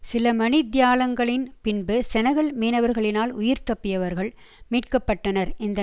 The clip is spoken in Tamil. சில மணி தியாலங்களின் பின்பு செனகல் மீனவர்களினால் உயிர்தப்பியவர்கள் மீட்க பட்டனர் இந்த